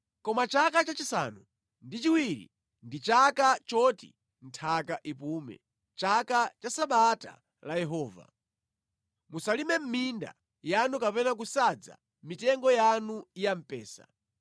Koma chaka chachisanu ndi chiwiri ndi chaka choti nthaka ipume, chaka cha Sabata la Yehova. Musalime mʼminda yanu kapena kusadza mitengo yanu ya mpesa.